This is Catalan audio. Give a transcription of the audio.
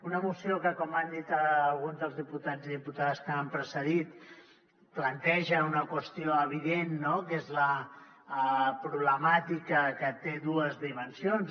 una moció que com han dit alguns dels diputats i diputades que m’han precedit planteja una qüestió evident que és la problemàtica que té dues dimensions